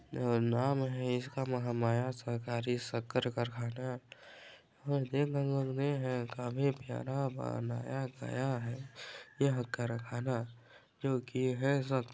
और नाम हैं इसका महामाया सरकारी शक्कर कारखाना काफी प्यारा बनाया गया हैं यह कारखाना जो कि हैं सब --